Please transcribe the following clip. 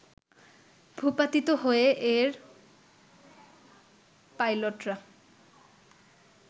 ভূপাতিত হয়ে এর পাইলটরা